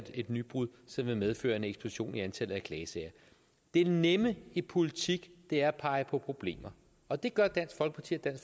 et nybrud som vil medføre en eksplosion i antallet af klagesager det nemme i politik er at pege på problemer og det gør dansk folkeparti